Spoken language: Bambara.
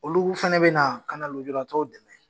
Olu fana bɛ na ka na lojuratɔw dɛmɛ.